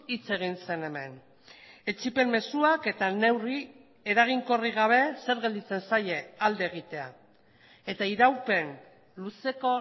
hitz egin zen hemen etsipen mezuak eta neurri eraginkorrik gabe zer gelditzen zaie alde egitea eta iraupen luzeko